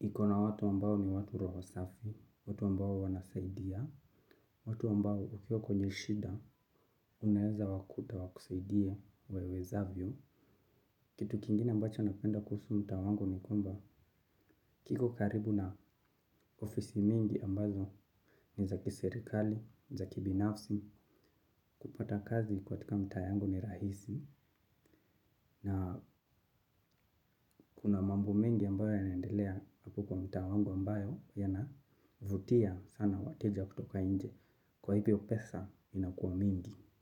ikona watu ambao ni watu roho safi, watu ambao wanasaidia, watu ambao ukiwa kwenye shida unaweza wakuta wakusaidie wawezavyo. Kitu kingine ambacho napenda kuhusu mtaa wangu ni kwamba kiko karibu na ofisi mingi ambazo ni za kiserikali, za kibinafsi, kupata kazi katika mtaa yangu ni rahisi. Na kuna mambo mengi ambayo yanendelea hapo kwa mta wangu ambayo yanavutia sana wateja kutoka nje kwa hivyo pesa inakuwa mingi.